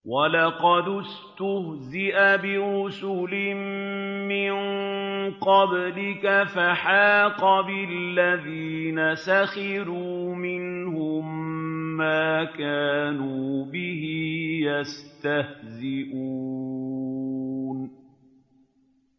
وَلَقَدِ اسْتُهْزِئَ بِرُسُلٍ مِّن قَبْلِكَ فَحَاقَ بِالَّذِينَ سَخِرُوا مِنْهُم مَّا كَانُوا بِهِ يَسْتَهْزِئُونَ